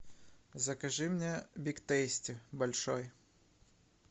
закажи мне биг тейсти большой